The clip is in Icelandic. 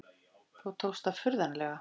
Þó tókst það furðanlega.